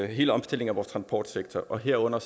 hele omstillingen af vores transportsektor og herunder